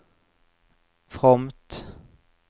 fromt